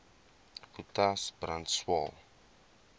potas brand swael